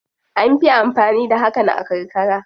An fi amfani da hakan a karkara.